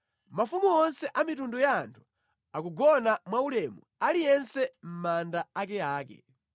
Mafumu onse a mitundu ya anthu akugona mwaulemu aliyense mʼmanda akeake.